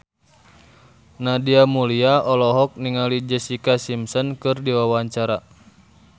Nadia Mulya olohok ningali Jessica Simpson keur diwawancara